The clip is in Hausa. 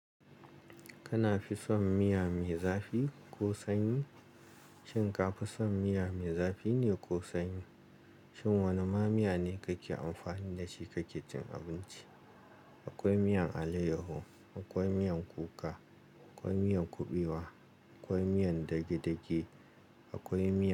Kana fi son miya mai zafi ko sanyi? Shin ka fi son miya mai zafi ne ko sanyi? Shin wane ma miya ne kake amfani da shi kake cin abinci? Akwai miyan alayyahu, akwai miyan kuka, akwai miyan kuɓewa, akwai miyan dage-dage, akwai miyan.